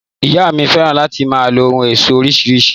Ìyá mi fẹ́ràn láti máa lo ohun éṣọ́ oríṣiríṣi